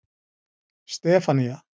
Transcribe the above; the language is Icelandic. Stefanía